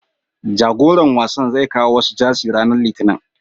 Jagoran wasan zai kawo wasu Jersey ranar Litinin.